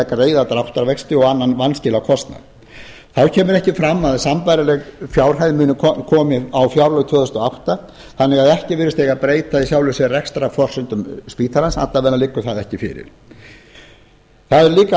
greiða dráttarvexti og annan vanskilakostnað þá kemur ekki fram að sambærileg fjárhæð komi á fjárlög árið tvö þúsund og átta þannig að ekki virðist eiga að breyta í sjálfu sér rekstrarforsendum spítalans alla vega liggur það ekki fyrir það eru